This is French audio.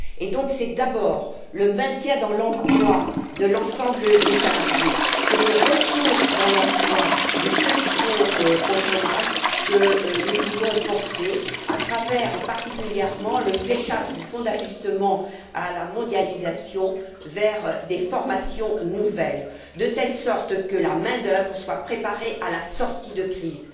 c'est donc d'abord le maintien dans l'emploi de l'ensemble des salariés et le retour dans l'emploi de ceux qui sont au chômage que nous voulons porter à travers, notamment, le fléchage du Fonds d'ajustement à la mondialisation vers des formations nouvelles, de sorte que la main d'œuvre soit préparée à la sortie de crise.